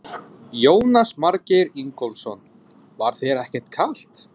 Jónas Margeir Ingólfsson: Var þér ekkert kalt?